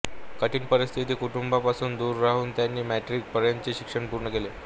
कठीण परिस्थिती कुटुंबियांपासून दूर राहून त्यांनी मॅट्रीक पर्यंतचे शिक्षण पूर्ण केले